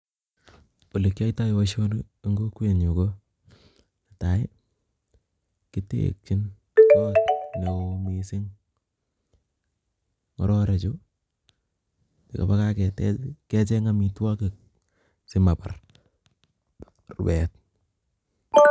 Olekiyoito boishoni en kokwenyun, ko netai kitekyin koot neoo mising, ng'ororechu ng'obore kaketech kecheng amitwokik simabar rubet.